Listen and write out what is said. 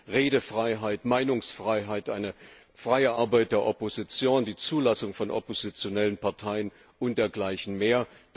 Das heißt Redefreiheit, Meinungsfreiheit, eine freie Arbeit der Opposition, die Zulassung von oppositionellen Parteien und dergleichen mehr.